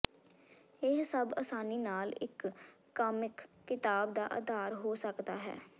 ਇਹ ਸਭ ਆਸਾਨੀ ਨਾਲ ਇਕ ਕਾਮਿਕ ਕਿਤਾਬ ਦਾ ਆਧਾਰ ਹੋ ਸਕਦਾ ਹੈ